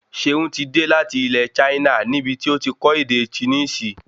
Ṣeun tí dé láti ilẹ Chaina níbití ọtí kò ede Chinisi